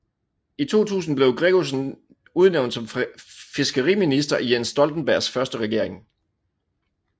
I 2000 blev Gregussen udnævnt som fiskeriminister i Jens Stoltenbergs første regering